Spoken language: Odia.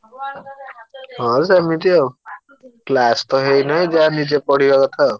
ହଁ ସେମିତି ଆଉ class ତ ହେଇନାଇ ଯାହା ନିଜେ ପଢିବା କଥା ଆଉ।